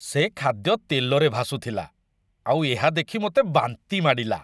ସେ ଖାଦ୍ୟ ତେଲରେ ଭାସୁଥିଲା ଆଉ ଏହା ଦେଖି ମୋତେ ବାନ୍ତି ମାଡ଼ିଲା।